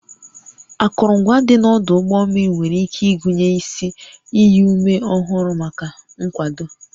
Akụrụngwa dị n'ọdụ ụgbọ mmiri nwere ike ịgụnye isi iyi ume ọhụrụ maka nkwado